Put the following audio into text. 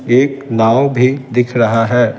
एक नाव भी दिख रहा है।